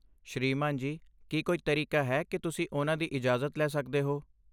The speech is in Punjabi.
ਸ੍ਰੀਮਾਨ ਜੀ, ਕੀ ਕੋਈ ਤਰੀਕਾ ਹੈ ਕਿ ਤੁਸੀਂ ਉਨ੍ਹਾਂ ਦੀ ਇਜਾਜ਼ਤ ਲੈ ਸਕਦੇ ਹੋ?